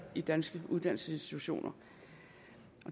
de danske uddannelsesinstitutioner